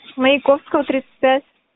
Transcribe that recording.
маяковского тридцать пять